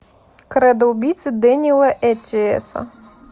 кредо убийцы дэниела эттиэса